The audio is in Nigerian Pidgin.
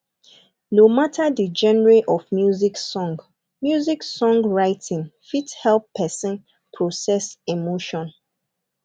no matter di genre of music song music song writing fit help person process emotion